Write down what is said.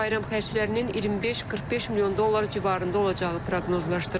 Bayram xərclərinin 25-45 milyon dollar civarında olacağı proqnozlaşdırılır.